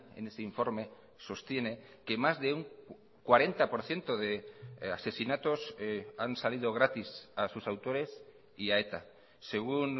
en ese informe sostiene que más de un cuarenta por ciento de asesinatos han salido gratis a sus autores y a eta según